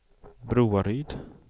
Broaryd